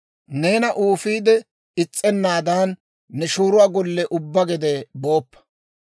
Neena uufiide is's'ennaadan, ne shooruwaa golle ubbaa gede booppa.